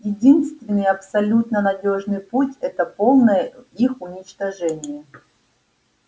единственный абсолютно надёжный путь это полное их уничтожение